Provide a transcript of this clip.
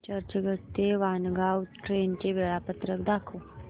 चर्चगेट ते वाणगांव ट्रेन चे वेळापत्रक दाखव